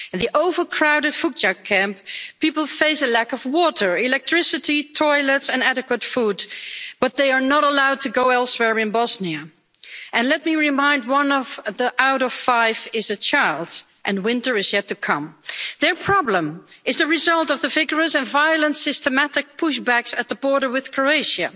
In the overcrowded Vucjak camp, people face a lack of water, electricity, toilets and adequate food, but they are not allowed to go elsewhere in Bosnia, and let me remind you that one out of five is a child and winter is yet to come. Their problem is the result of the vigorous and violent systematic pushbacks at the border with Croatia.